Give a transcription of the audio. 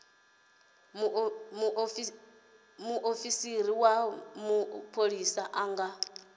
muofisi wa mapholisa a nga